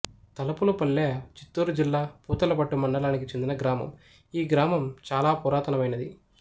తలుపులపల్లె చిత్తూరు జిల్లా పూతలపట్టు మండలానికి చెందిన గ్రామం ఈగ్రామం చాల పురాతనమైనది